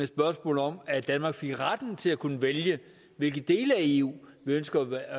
spørgsmål om at danmark fik retten til at kunne vælge hvilke dele af eu vi ønsker at være